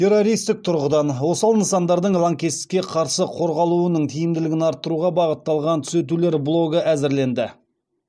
террористік тұрғыдан осал нысандардың лаңкестікке қарсы қорғалуының тиімділігін арттыруға бағытталған түзетулер блогы әзірленді